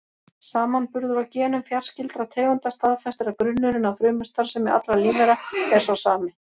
Samanburður á genum fjarskyldra tegunda staðfestir að grunnurinn að frumustarfsemi allra lífvera er sá sami.